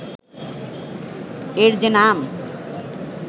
এর যে নাম